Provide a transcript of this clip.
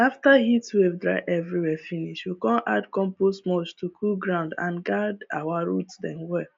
after heatwave dry everywhere finish we come add compost mulch to cool ground and guard our root dem well